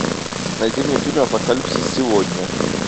найди мне фильм апокалипсис сегодня